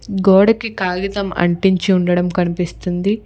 గోడకి కాగితం అంటించి ఉండడం కనిపిస్తుంది.